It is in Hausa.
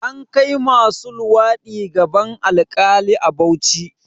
An kai masu luwaɗi gaban alkali a Bauchi